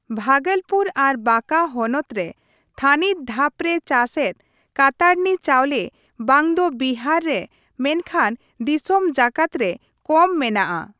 ᱵᱷᱟᱜᱚᱞᱯᱩᱨ ᱟᱨ ᱵᱟᱸᱠᱟ ᱦᱚᱱᱚᱛ ᱨᱮ ᱛᱷᱟᱹᱱᱤᱛ ᱫᱷᱟᱯ ᱨᱮ ᱪᱟᱥᱮᱫ ᱠᱟᱛᱟᱨᱱᱤ ᱪᱟᱣᱞᱮ ᱵᱟᱝ ᱫᱚ ᱵᱤᱦᱟᱨ ᱨᱮ ᱢᱮᱱᱠᱷᱟᱱ ᱫᱤᱥᱚᱢ ᱡᱟᱠᱟᱛ ᱨᱮ ᱠᱚᱢ ᱢᱮᱱᱟᱜ ᱟ ᱾